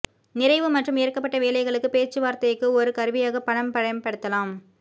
நிறைவு மற்றும் ஏற்கப்பட்ட வேலைகளுக்கு பேச்சுவார்த்தைக்கு ஒரு கருவியாக பணம் பயன்படுத்தலாம்